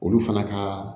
Olu fana ka